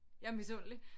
Jeg er misundelig